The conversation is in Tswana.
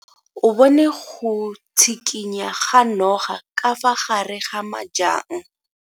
O bone go tshikinya ga noga ka fa gare ga majang.